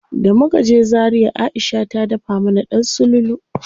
Da muka je Zaria Aisha ta dafa mana ɗan sululu.